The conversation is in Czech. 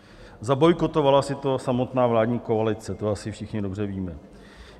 Zabojkotovala si to samotná vládní koalice, to asi všichni dobře víme.